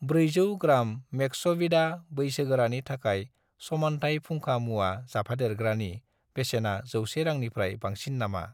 400 gram मेक्सविदा बैसोगोरानि थाखाय समानथाइ फुंखा मुवा जाफादेरग्रानि बेसेना 100 रांनिफ्राय बांसिन नामा?